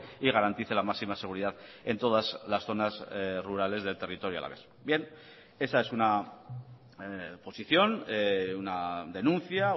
y garantice la máxima seguridad en todas las zonas rurales del territorio alavés bien esa es una posición una denuncia